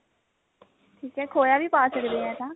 ਠੀਕ ਐ ਖੋਇਆ ਵੀ ਪਾ ਸਕਦੇ ਹਾਂ ਐਂ ਤਾਂ